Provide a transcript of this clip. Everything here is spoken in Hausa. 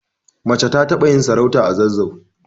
Mace ta taɓa yin sarauta a zazzau